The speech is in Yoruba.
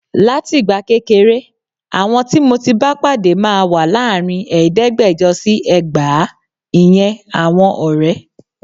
Látìgbà kékeré, àwọn tí mo ti bá pàdé máa wà láàrin ẹ̀ẹ́dẹ́gbẹ̀jọ sí ẹgbàá. Ìyẹn àwọn ọ̀rẹ́.